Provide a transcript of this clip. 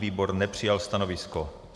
Výbor nepřijal stanovisko.